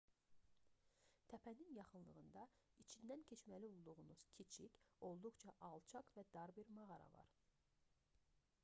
təpənin yaxınlığında içindən keçməli olduğunuz kiçik olduqca alçaq və dar bir mağara var